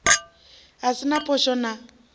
a si na phosho na